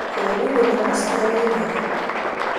kabunu kamosta niin ake